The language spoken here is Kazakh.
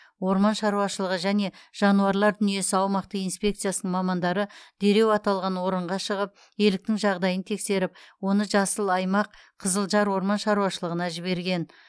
орман шаруашылығы және жануарлар дүниесі аумақтық инспекциясының мамандары дереу аталған орынға шығып еліктің жағдайын тексеріп оны жасыл аймақ қызылжар орман шаруашылығына жіберген